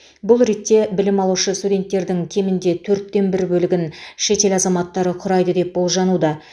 бұл ретте білім алушы студенттердің кемінде төрттен бір бөлігін шетел азаматтары құрайды деп болжануда